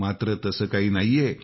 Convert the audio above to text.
मात्र तसं काही नाहीए